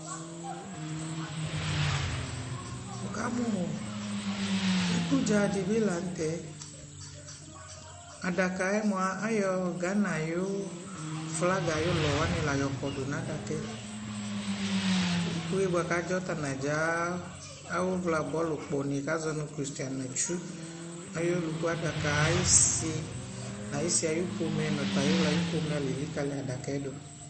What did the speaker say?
Wu kamu, iku dza dι bi la ntɛAdaka yɛ mua ayɔ Gana yʋ flaga yʋ lɔ la kɔdu na daka yɛIku yɛ bua ka dzɔ ta na dzaa awu via bɔɔlu kpɔ ni ka zɔ nu Kristiana Atsu ayɔ ɔluku adaka ayi si na yi si ayʋ pomɛ na yʋ ɣla pomɛ lɛ likali du adaka yɛ tu